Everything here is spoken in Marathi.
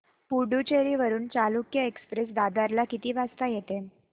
पुडूचेरी वरून चालुक्य एक्सप्रेस दादर ला किती वाजता येते